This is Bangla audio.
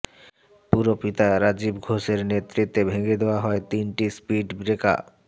পুরপিতা রাজীব ঘোষের নেতৃত্বে ভেঙে দেওয়া হয় তিনটি স্পিড ব্রেকা